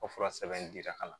O fura sɛbɛn dira ka na